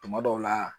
Tuma dɔw la